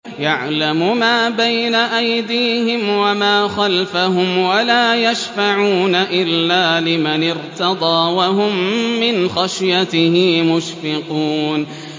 يَعْلَمُ مَا بَيْنَ أَيْدِيهِمْ وَمَا خَلْفَهُمْ وَلَا يَشْفَعُونَ إِلَّا لِمَنِ ارْتَضَىٰ وَهُم مِّنْ خَشْيَتِهِ مُشْفِقُونَ